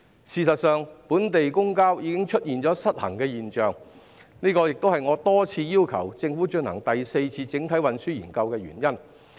事實上，本地公共交通已經出現失衡現象，這亦是我多次要求政府進行第四次整體運輸研究的原因。